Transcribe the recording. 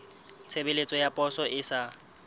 tshebeletso ya poso e sa